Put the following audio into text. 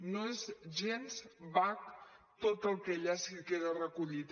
no és gens vague tot el que allà queda recollit